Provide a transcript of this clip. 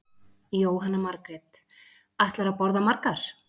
Jóhanna Margrét: Ætlarðu að borða margar?